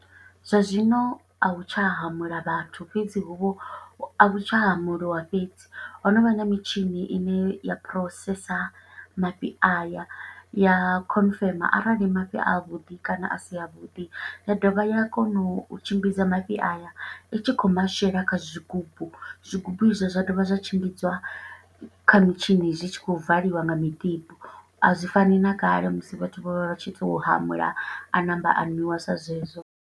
Zwa zwino, a hu tsha hamula vhathu, fhedzi hu vho, a vhu tsha hamuliwa fhedzi. Ho no vha na mitshini ine ya phurosesa mafhi aya, ya khonfema arali mafhi a vhuḓi kana a si a vhuḓi. Ya dovha ya kona u tshimbidza mafhi aya, i tshi khou mashela kha zwigubu. Zwigubu i zwo zwa dovha zwa tshimbidziwa kha mitshini, zwi tshi khou valiwa nga mutibo, a zwi fani na kale musi vhathu vho vha tshi to hamula, a ṋamba a nwiwa sa zwezwo.